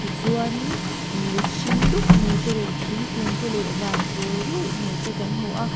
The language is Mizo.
tichuan in dil hring dup mai te leh thingkung te leh van pawl ruih mai te kan hmu a.